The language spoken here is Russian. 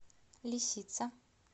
лисица